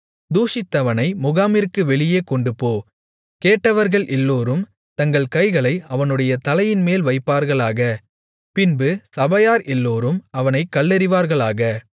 தூஷித்தவனை முகாமிற்கு வெளியே கொண்டுபோ கேட்டவர்கள் எல்லோரும் தங்கள் கைகளை அவனுடைய தலையின்மேல் வைப்பார்களாக பின்பு சபையார் எல்லோரும் அவனைக் கல்லெறிவார்களாக